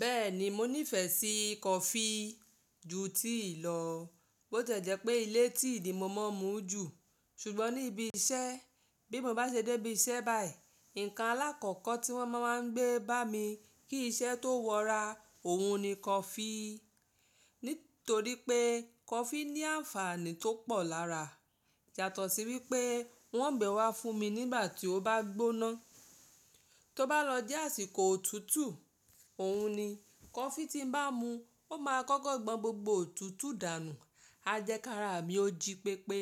Bẹ́ẹ̀ni, mo nífẹ̀ẹ́ sí coffee ju ti ì lọ. Bó tẹ jẹ́ pé ilé tí ní mo má a mu ju, ṣùgbọ́n ní ibi iṣẹ́, bí mo bá ṣe dé ibi iṣẹ́ báyìí, ǹkan alákọ̀ọ́kọ̀ tí wọ́n má a ń gbé bá mi kí iṣẹ́ tó wọ́ra, òhun ni coffee. Nítorí pé coffee ní àǹfààní tó pọ̀ lára. Yàtọ̀ sí wípé wọ́n ń gbẹ wá fún mi nígbà tí ó bá gbóná. Tó bá lọ jẹ́ àsìkò òtútù, òhun ni coffee tí n bá mu, ó máa kọ́kọ́ gbọn gbogbo òtútù dànù, a jẹ kára mi ó jí pépé.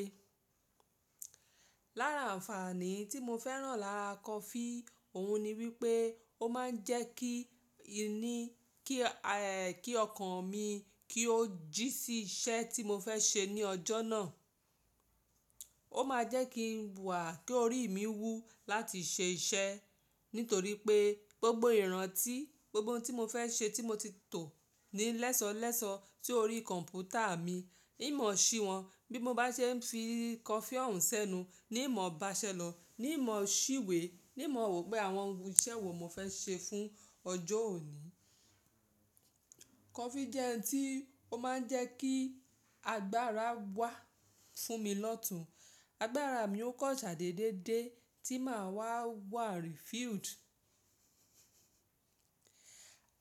Lára àǹfààní tí mo fẹ́ràn lára coffee, òhun ni wípé ó má ń jẹ́ kí inú, kí ehh, kí ọkàn mi kí ó jí sí iṣẹ́ tí mo fẹ́ ṣe ní ọjọ́ náà. Ó ma jẹ́ kí ń wà, kí orí mi wú láti ṣe iṣẹ́. Nítorí pé gbogbo ìrántí, gbogbo ohun tí mo fẹ́ ṣe tí mo ti tò ní lẹ́sọ̀lẹ́sọ̀ sórí kọ̀ǹpútà mi, hín mọ̀ sí wọn. Bí mo bá ṣe ń fi coffee òun sẹ́nu, ní mọ̀ bá ṣẹ́ lọ, ní mọ̀ ṣíwé, ní mọ̀ wò pé àwọn ìṣe wo mo fẹ́ ṣe fún ọjọ́ òní. Coffee jẹ́ ohun tí ó má ń jẹ́ kí agbára wà fún mi lọ́tùn. Agbára mi ó kọsá déédéé dé tí màá wà refilled.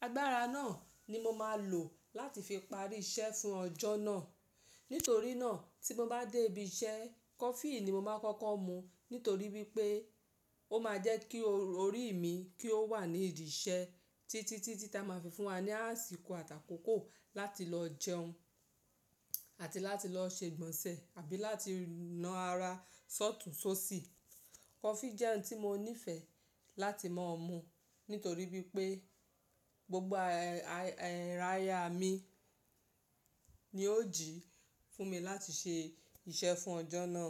Agbára náà ni mo máa lò láti fi parí iṣẹ́ fún ọjọ́ náà. Nítorí náà tí mo bá dé ibi iṣẹ́, coffee ni mo máa kọ́kọ́ mu. Nítorí wípé ó ma jẹ́ kí orí mi kí ó wà ní ìdí iṣẹ́ títí tí ti a máa fi fún wa ní àsìkò àtàkókò láti lọ jẹun àti láti lọ ṣe ìgbọ̀nsẹ̀ àbí láti na ara sọ́tùú sóṣì. Coffee jẹ́ ohun tí mo nífẹ̀ẹ́ láti máa mu nítorí wípé gbogbo ẹ́rayá mi ni ó jí fún mi láti ṣe iṣẹ́ fún ọjọ́ náà.